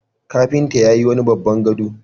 Kafinta yayi wani babban gado.